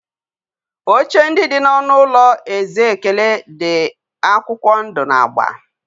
Oche ndị dị n'ọnụ ụlọ eze ekene di akwụkwọ ndụ na agba.